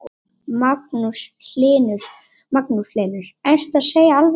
Magnús Hlynur: Ertu að segja alveg satt?